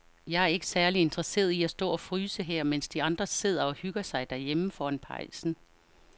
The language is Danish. Jeg er ikke særlig interesseret i at stå og fryse her, mens de andre sidder og hygger sig derhjemme foran pejsen.